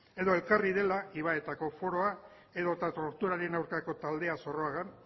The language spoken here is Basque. edo ekarri dela ibaetako foroa edo torturaren aurkako taldea zorroagan